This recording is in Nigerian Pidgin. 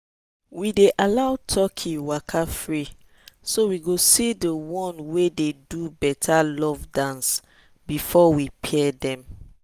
we dey allow turkey waka free so we go see the one wey dey do better love dance before we pair dem.